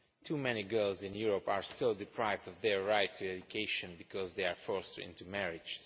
Too many girls in Europe are still deprived of their right to education, because they are forced into marriage.